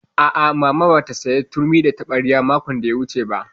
A'a, Mama ba ta sayo turmi da taɓarya makon da ya gabata ba